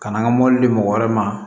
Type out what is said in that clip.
Ka na an ka mɔbili di mɔgɔ wɛrɛ ma